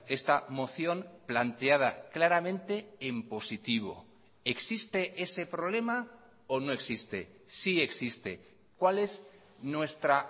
esta moción planteada claramente en positivo existe ese problema o no existe sí existe cuál es nuestra